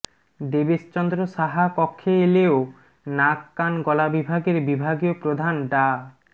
দেবেশ চন্দ্র সাহা কক্ষে এলেও নাক কান গলা বিভাগের বিভাগীয় প্রধান ডা